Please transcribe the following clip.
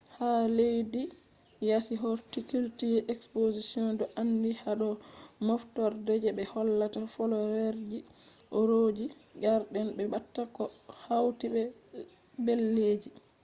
leddi yasi horticulture expositions do andi hado moftorde je be hollata flowerji aureji garden be pat koh hauti be leddeji